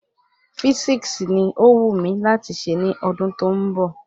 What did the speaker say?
Físíksì ni ọ wù mí láti ṣe ní ọdún tó ń bọ̀